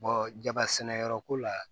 jaba sɛnɛ yɔrɔ ko la